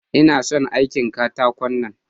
Ina son aikin katakon nan.